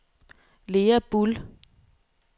Lea Buhl